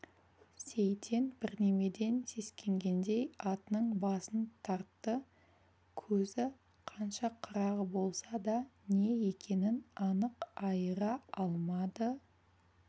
сейтен бірдемеден сескенгендей атының басын тартты көзі қанша қырағы болса да не екенін анық айыра алмады